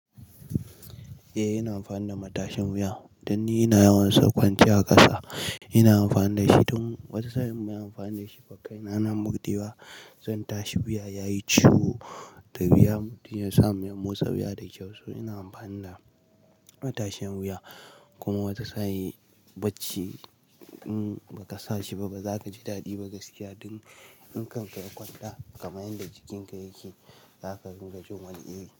Eh ina amfani da matashin wuya don ni ina yawan son kwanciya a ƙasa ina amfani dashi. Tun wata saa'in in ban yi amfani da shi ba kaina na Murdewa zan tashi wuya yayi ciwo da wuya mutum ya samu motsa wuya da kyau. So ina amfani da matashin wuya kuma wata saa'i barci in ba ka sa shi ba ba za ka ji daɗi ba gaskiya. Dun in kanka ya kwanta kamar yadda jikinka yake za ka dinga jin wani iri.